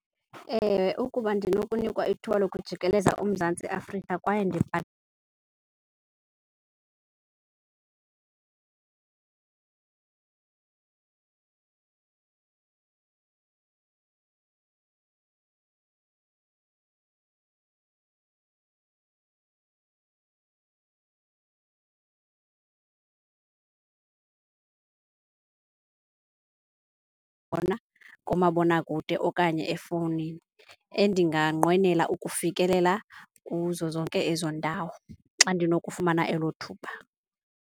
Ewe, ukuba ndinokunika ithiwa lokujikeleza uMzantsi Afrika kwaye kumabonakude okanye efowunini, endinganqwenela ukufikelela kuzo zonke ezo ndawo xa ndinokufumana elo thuba.